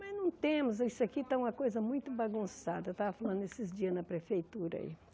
Mas não temos, isso aqui está uma coisa muito bagunçada, eu estava falando esses dias na prefeitura aí.